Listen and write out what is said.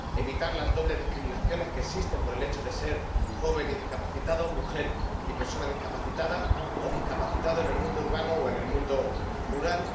evitar las dobles discriminaciones que existen por el hecho de ser joven y discapacitado, mujer y persona discapacitada o discapacitado en el mundo urbano o en el mundo rural